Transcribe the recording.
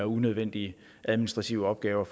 unødvendige administrative opgaver